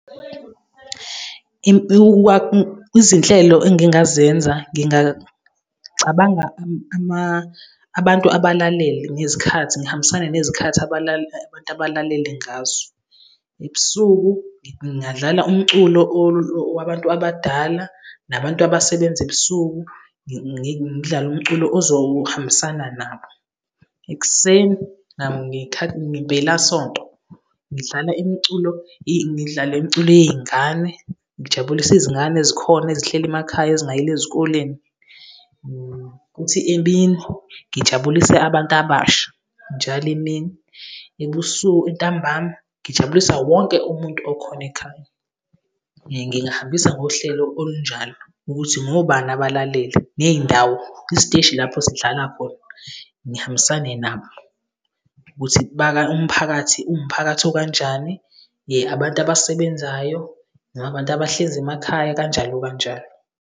Izinhlelo engingazenza, ngingacabanga abantu abalalele ngezikhathi, ngihambisane nezikhathi abantu abalalele ngazo. Ebusuku, ngingadlala umculo wabantu abadala nabantu abasebenza ebusuku, ngidlale umculo ozohambisana nabo. Ekuseni, ngempelasonto, ngidlala imiculo yey'ngane, ngijabulise izingane ezikhona ezihleli emakhaya, ezingayile ezikoleni. Kuthi emini, ngijabulise abantu abasha njalo emini. Ebusuku ntambama ngijabulisa wonke umuntu okhona ekhaya. Ngingahambisa ngohlelo olunjalo ukuthi ngobani abalalele ney'ndawo isiteshi lapho sidlala khona, ngihambisane nabo ukuthi umphakathi uwumphakathi okanjani, abantu abasebenzayo noma abantu abahlezi emakhaya kanjalo, kanjalo.